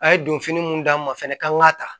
A ye donfini mun d'a ma fɛnɛ k'an ka ta